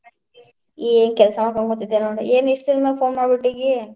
ಏ ಕೆಲಸಾ ಹೋಗಾತಿದ್ದೆ ನೋಡ್, ಏನ್ ಇಷ್ಟ್ ದಿನದ್ ಮ್ಯಾಲೆ phone ಮಾಡಿಬಿಟ್ಟಿದಿ.